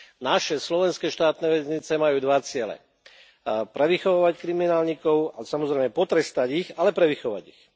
Naše slovenské štátne väznice majú dva ciele prevychovávať kriminálnikov a, samozrejme, potrestať ich, ale prevychovať ich.